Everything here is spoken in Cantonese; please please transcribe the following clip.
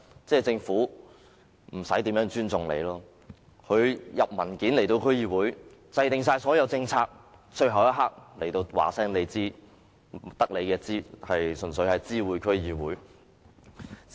政府遞交文件給區議會時，所有政策均已制訂，最後一刻才告訴區議會，純粹是知會性質。